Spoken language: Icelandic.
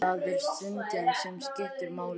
Það er stundin sem skiptir máli.